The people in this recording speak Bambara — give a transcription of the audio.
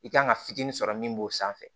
I kan ka fitinin sɔrɔ min b'o sanfɛ